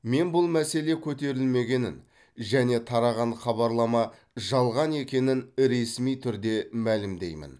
мен бұл мәселе көтерілмегенін және тараған хабарлама жалған екенін ресми түрде мәлімдеймін